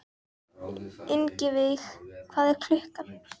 Ingiveig, hvað er klukkan?